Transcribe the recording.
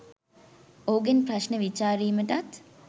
ඔහුගෙන් ප්‍රශ්න විචාරීමටත්